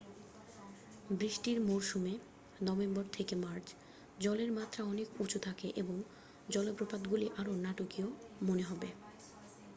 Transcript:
বৃষ্টির মরশুমে নভেম্বর থেকে মার্চ জলের মাত্রা অনেক উঁচু থাকে এবং জলপ্রপাতগুলি আরও নাটকীয় মনে হবে।